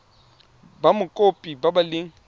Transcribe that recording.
ba mokopi ba ba leng